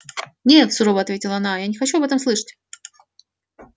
нет сурово ответила она я не хочу об этом слышать